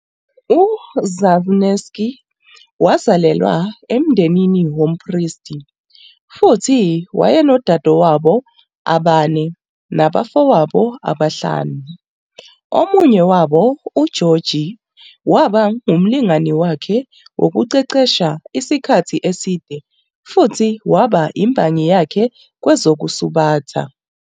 UZnamensky wazalelwa emndenini wompristi futhi wayenodadewabo abane nabafowabo abahlanu, omunye wabo, uGeorgy, waba ngumlingani wakhe wokuqeqesha isikhathi eside futhi waba imbangi yakhe kwezokusubatha.